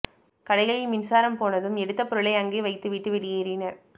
கடைகளில் மின்சாரம் போனதும் எடுத்த பொருளை அங்கேயே வைத்து விட்டு வெளியேறினர்